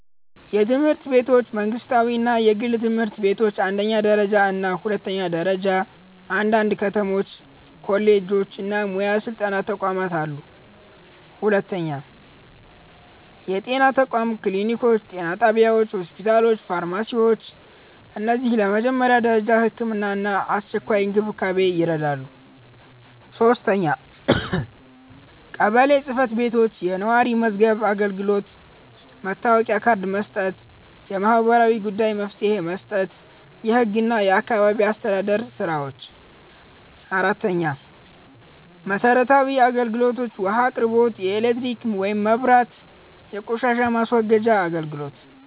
የትምህርት ቤቶች መንግስታዊ እና የግል ትምህርት ቤቶች አንደኛ ደረጃ እና ሁለተኛ ደረጃ አንዳንድ ከተሞች ኮሌጆች እና ሙያ ስልጠና ተቋማት አሉ 2. የጤና ተቋማት ክሊኒኮች ጤና ጣቢያዎች ሆስፒታሎች ፋርማሲዎች እነዚህ ለመጀመሪያ ደረጃ ሕክምና እና አስቸኳይ እንክብካቤ ይረዳሉ 3. ቀበሌ ጽ/ቤቶች የነዋሪ መዝገብ አገልግሎት መታወቂያ ካርድ መስጠት የማህበራዊ ጉዳዮች መፍትሄ መስጠት የህግ እና የአካባቢ አስተዳደር ስራዎች 4. መሰረታዊ አገልግሎቶች ውሃ አቅርቦት ኤሌክትሪክ (መብራት) የቆሻሻ ማስወገጃ አገልግሎት